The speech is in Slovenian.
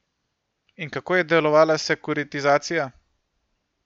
In kako je delovala sekuritizacija?